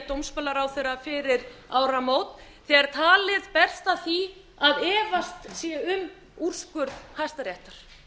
dómsmálaráðherra fyrir áramót þegar talið berst að því að efast sé um úrskurð hæstaréttar